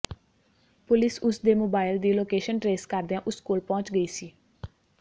police ਉਸ ਦੇ mobile ਦੀ ਲੋਕੇਸ਼ਨ ਟਰੇਸ ਕਰਦਿਆਂ ਉਸ ਕੋਲ ਪਹੁੰਚ ਗਈ ਸੀ